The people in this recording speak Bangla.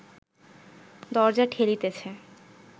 দরজা ঠেলিতেছে